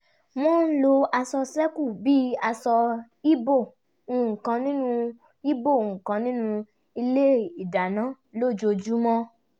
wọ́n ń lo aṣọ ṣẹ́kù bí àṣọ ìbo nǹkan nínú ìbo nǹkan nínú ilé ìdáná lójoojúmọ́